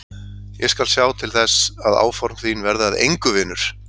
Ég skal sjá til þess að áform þín verði að engu, vinur!